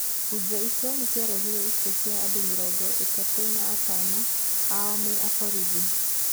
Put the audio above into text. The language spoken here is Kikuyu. Bunjo icio nĩ ciarehire ikuũcia andũmĩrongo ĩtatũatano ao me aborithi.